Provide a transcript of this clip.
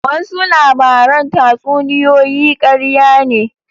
Wasu labaran tatsuniyoyi karya ne.